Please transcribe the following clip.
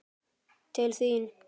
Til þín?